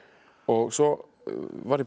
svo var ég á